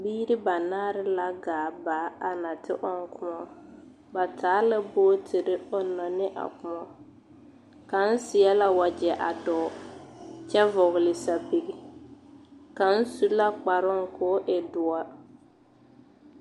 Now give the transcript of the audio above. Biiri ba naare la gaa baa a na te ɔŋ kõɔ. Ba taa bootiri ɔnna ne a kõɔ. Kaŋ seɛ la wagyɛ a dɔɔ, kyɛ vɔgle sapigi. Kaŋ su la kparoo koo e doɔr.